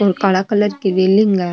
ये काला कलर की रेलिंग है।